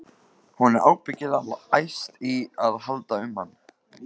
Hún er ábyggilega alveg æst í að halda um hann.